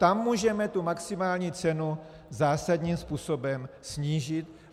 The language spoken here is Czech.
Tam můžeme tu maximální cenu zásadním způsobem snížit.